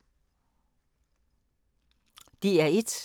DR1